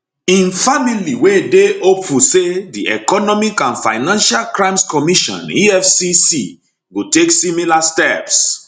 im family we dey hopeful say di economic and financial crimes commission efcc go take similar steps